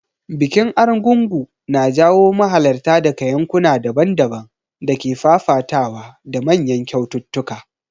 Bikin Argungu na jawo mahalarta daga yankuna daban-daban da ke fafatawa da manyan kyaututtuka.